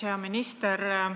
Hea minister!